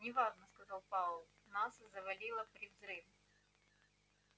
не важно сказал пауэлл нас завалило при взрыве